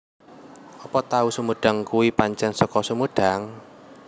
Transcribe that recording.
Opo tahu sumedang kui pancen seko Sumedang?